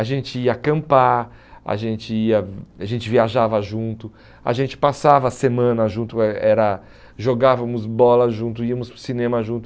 A gente ia acampar, a gente ia a gente viajava junto, a gente passava a semana junto, eh era jogávamos bola junto, íamos para o cinema junto.